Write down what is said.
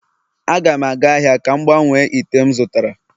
A ga m aga ahia ka m gbanwee ite m zụtara..